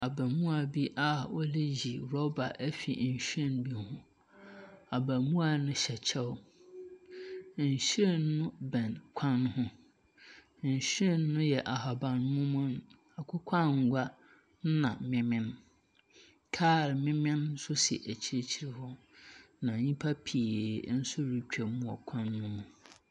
Abaamua bi a ɔreyi rɔba afiri nhwiren bi ho. Abaamua no hyɛ kyɛw. Nhwiren no bɛn kwan ho. Nhwiren no yɛ ahaban mono, akokɔ angua, ɛnna memen. Kaa memen nso si akyirkyir wɔ, na nyimpa pii nsoretwa wɔn kwan no ho.